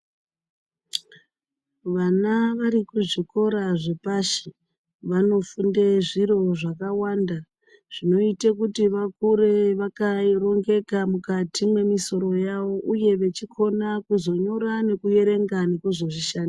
Vana varikuzvikora zvepashi vanofunde zviro zvakawanda zvinoite kuti vakure vakarongoka mwukati mwemisoro yawo uye vachikona kuzonyora nekuverenga nekuzozvishandira.